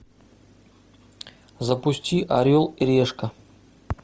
запусти орел и решка